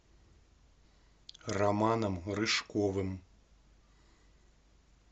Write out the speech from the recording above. романом рыжковым